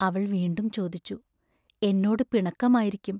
അവൾ വീണ്ടും ചോദിച്ചു: എന്നോടു പിണക്കമായിരിക്കും?